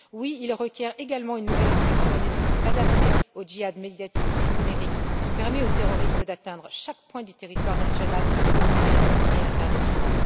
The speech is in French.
Oui, il requiert également une nouvelle réflexion et des outils adaptés au djihad médiatique et numérique, qui permet aux terroristes d'atteindre chaque point du territoire national, européen et international.